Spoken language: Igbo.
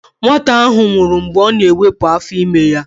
Nwata ahụ nwụrụ mgbe ọ na-ewepụ afọ ime ya.